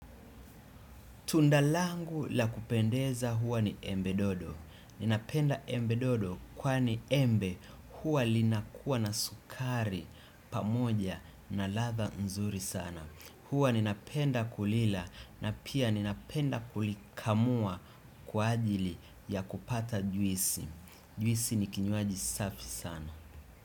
Tundalangu la kupendeza huwa ni embe dodo. Ninapenda embe dodo kwa ni embe huwa linakuwa na sukari pamoja na latha nzuri sana. Huwa ninapenda kulila na pia ninapenda kulikamua kwa ajili ya kupata jwisi. Jwisi ni kinyuaji safi sana.